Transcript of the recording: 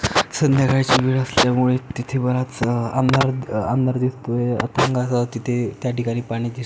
संध्याकाळची वेळ असल्यामुळे तिथे बराच अह अंधार अंधार दिसतोय अह अथांग असं तिथे त्याठिकाणी पाणी दिस--